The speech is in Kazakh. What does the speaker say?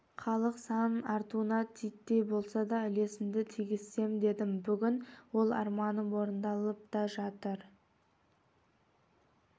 халық санының артуына титтей болса да үлесімді тигізсем дедім бүгін ол арманым орындалып та жатыр